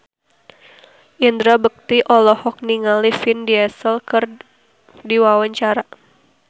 Indra Bekti olohok ningali Vin Diesel keur diwawancara